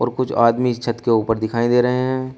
कुछ आदमी इस छत के ऊपर दिखाई दे रहे हैं।